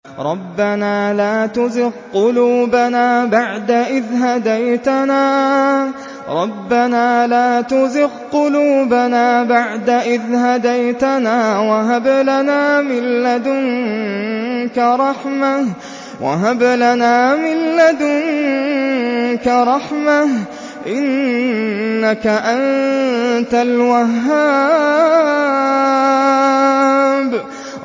رَبَّنَا لَا تُزِغْ قُلُوبَنَا بَعْدَ إِذْ هَدَيْتَنَا وَهَبْ لَنَا مِن لَّدُنكَ رَحْمَةً ۚ إِنَّكَ أَنتَ الْوَهَّابُ